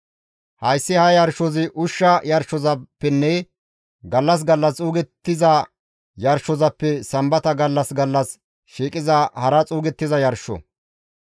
Hayssi ha yarshozi ushsha yarshozappenne gallas gallas xuugettiza yarshozappe Sambata gallas gallas shiiqiza hara xuugettiza yarsho.